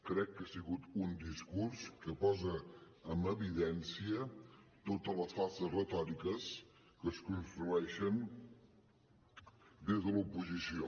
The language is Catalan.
crec que ha sigut un discurs que posa en evidència totes les falses retòriques que es construeixen des de l’oposició